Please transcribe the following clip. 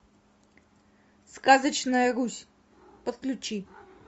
сказочная русь подключи